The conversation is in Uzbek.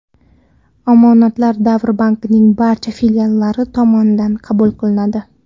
Omonatlar Davr Bank’ning barcha filiallari tomonidan qabul qilinadi.